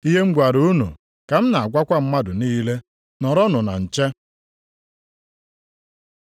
Ihe m gwara unu ka m na-agwakwa mmadụ niile. ‘Nọrọnụ na nche.’ ”